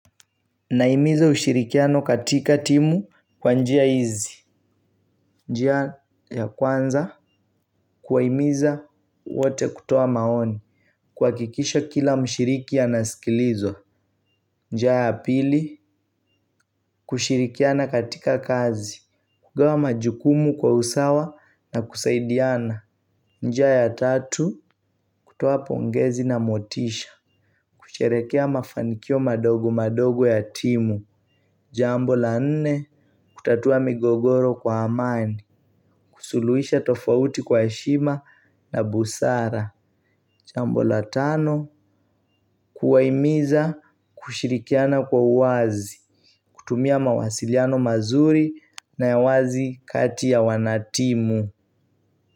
Nahimiza ushirikiano katika timu kwa njia hizi. Njia ya kwanza kuwahimiza wote kutoa maoni. Kuhakikisha kila mshiriki anasikilizwa. Njia ya pili kushirikiana katika kazi. Kugawa majukumu kwa usawa na kusaidiana. Njia ya tatu kutoa pongezi na motisha. Kusherehekea mafanikio madogo madogo ya timu. Jambo la nne. Kutatua migogoro kwa amani. Kusuluhisha tofauti kwa heshima na busara jambo la tano. Kuwahimiza kushirikiana kwa uwazi. Kutumia mawasiliano mazuri na ya wazi kati ya wanatimu.